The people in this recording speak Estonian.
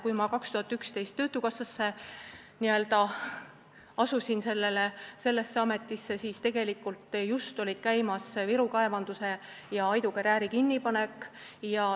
Kui ma aastal 2011 asusin töötukassas sellesse ametisse, siis olid käimas Viru kaevanduse ja Aidu karjääri kinnipanek.